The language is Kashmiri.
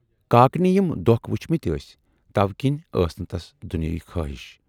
کاکنہِ یِم دۅکھ وُچھمٕتۍ ٲسۍ تَوٕ کِنۍ ٲسۍ نہٕ تس دُنیاوی خٲہشہِ۔